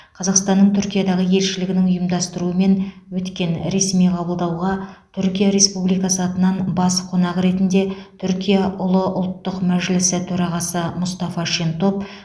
қазақстанның түркиядағы елшілігінің ұйымдастыруымен өткен ресми қабылдауға түркия республикасы атынан бас қонақ ретінде түркия ұлы ұлттық мәжілісі төрағасы мұстафа шентоп